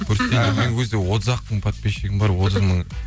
мен ол кезде отыз ақ мың подписчигім бар отыз мың